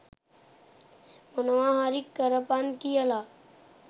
මොනව හරි කරපන් කියලා.